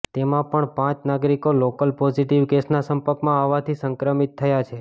તેમાં પણ પાંચ નાગરિકો લોકલ પોઝિટિવ કેસના સંપર્કમાં આવવાથી સંક્રમિત થયા છે